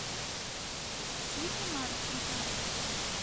ксюхе марченко